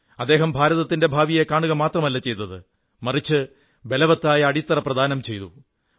അദ്ദേഹം ഭാരതത്തിന്റെ ഭാവിയെ സ്വപ്നം കാണുക മാത്രമല്ല ചെയ്തത് മറിച്ച് ബലവത്തായ അടിത്തറ പ്രദാനം ചെയ്യുകയും ചെയ്തു